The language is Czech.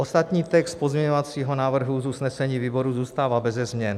Ostatní text pozměňovacího návrhu z usnesení výboru zůstává beze změn.